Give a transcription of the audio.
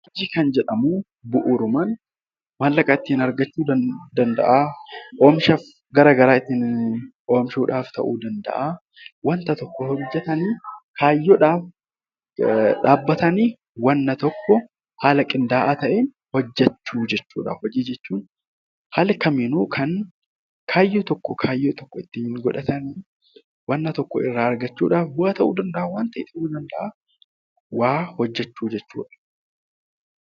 Hojii kan jedhamu bu'uurumaan qarshii kan itti argannu ta'uu danda'a oomisha oomishuuf ta'uu danda'a. Wanta tokko yoo hojjatan kaayyoodhaaf dhaabbatanii wanta tokko haala qindaa'aa ta'een hojjachuudha. Haala kamiinuu kan kaayyoo tokko wanta tokko irraa argachuuf ta'uu danda'a waa hojjachuu jechuudha.